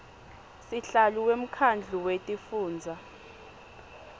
sihlalo wemkhandlu wetifundza